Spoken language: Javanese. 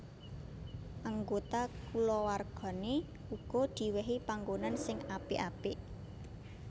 Anggota kulawargané uga diwèhi panggonan sing apik apik